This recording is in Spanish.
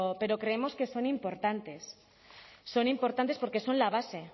pero creemos que son importantes son importantes porque son la base